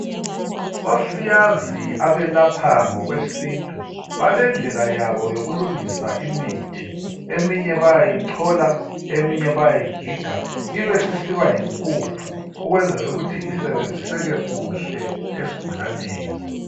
Osiyazi abelapha ngokwesintu balendlela yabo yokulungisa imithi eminye bayayichola eminye bayayigiga ibe isisiba yimpuphu ukwenzela ukuthi isebenziseke kuhle esigulaneni.